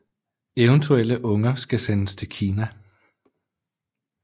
Eventuelle unger skal sendes til Kina